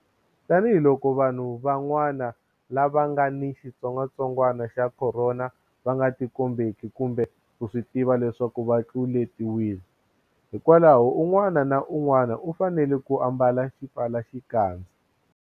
Tanihiloko vanhu van'wa-na lava nga ni xitsongwatsongwana xa Khorona va nga tikombeki kumbe ku swi tiva leswaku va tlule-tiwile, hikwalaho un'wana na un'wana u fanele ku ambala xipfalaxikandza.